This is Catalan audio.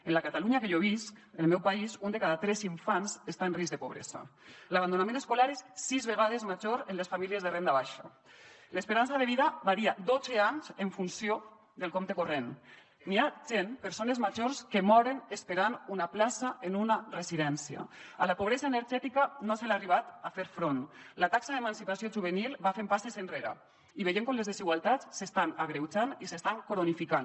en la catalunya que jo visc en el meu país un de cada tres infants està en risc de pobresa l’abandonament escolar és sis vegades major en les famílies de renda baixa l’esperança de vida varia dotze anys en funció del compte corrent hi ha gent persones grans que moren esperant una plaça en una residència a la pobresa energètica no se li ha arribat a fer front la taxa d’emancipació juvenil va fent passes enrere i veiem com les desigualtats s’estan agreujant i s’estan cronificant